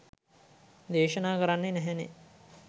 දේශනා කරන්නෙ නැහැනෙ.